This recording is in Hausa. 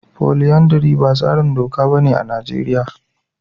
Folyandary ba tsarin doka bane a Najeriya.